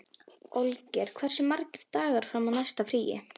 Olgeir, hversu margir dagar fram að næsta fríi?